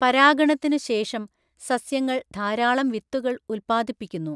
പരാഗണത്തിനു ശേഷം സസ്യങ്ങൾ ധാരാളം വിത്തുകൾ ഉത്പാദിപ്പിക്കുന്നു.